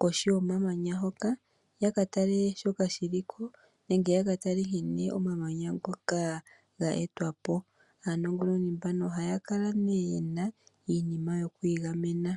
kohi yomamanya hoka ya ka tale shoka shili ko nenge yaka tale nkene omaamanya ngoka ga etwapo. Aanongononi mbano ohaya kala ne yena iinima yokwiigamena.